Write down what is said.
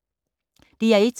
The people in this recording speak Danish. DR1